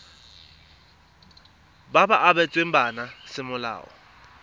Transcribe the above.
ba ba abetsweng bana semolao